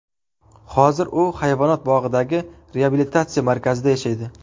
Hozir u hayvonot bog‘idagi reabilitatsiya markazida yashaydi.